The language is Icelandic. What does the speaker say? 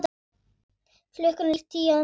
Klukkan er tíu að morgni.